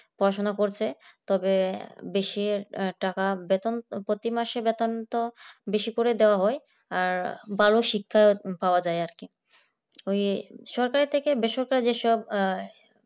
পড়াশোনা করছে তবে বেশি টাকা বেতন প্রত্যেক মাসে বেতন তো বেশি করে দেওয়া হয় আর ভালো শিক্ষা পাওয়া যায় আর কি ওই ছোট থেকে বেসরকার যেসব